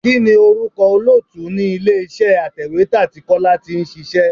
Kini orúkọ olóòtú ni ilé iṣẹ́ atèwétà tí Kọ́lá tí ń ṣíṣe?